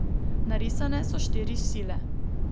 Narisane so štiri sile.